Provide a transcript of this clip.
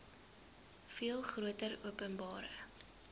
veel groter openbare